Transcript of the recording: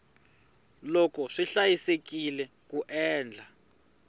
loko swi hlayisekile ku endla